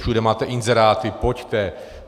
Všude máte inzeráty: Pojďte.